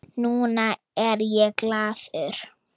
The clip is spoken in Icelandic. Núna er ég glaður.